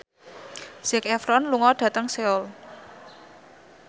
Zac Efron lunga dhateng Seoul